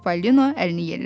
Çipollino əlini yellədi.